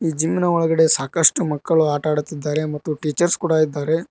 Gym ನ ಒಳಗಡೆ ಸಾಕಷ್ಟು ಮಕ್ಕಳು ಆಟವಾಡುತ್ತಿದ್ದಾರೆ ಮತ್ತು ಟೀಚರ್ಸ್ ಕೂಡ ಇದ್ದಾರೆ.